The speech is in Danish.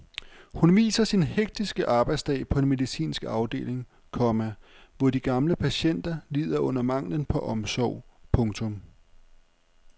Hun viser sin hektiske arbejdsdag på en medicinsk afdeling, komma hvor de gamle patienter lider under manglen på omsorg. punktum